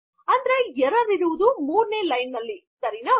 ಅಂದರೆ ಎರ್ರರ್ ಇರುವುದು ೩ನೇ ಲೈನ್ ನಲ್ಲಿ ಸರಿ